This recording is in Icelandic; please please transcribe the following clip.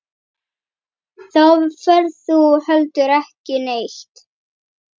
Þá ferð þú heldur ekki neitt.